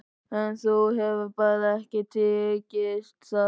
En þér hefur bara ekki tekist það.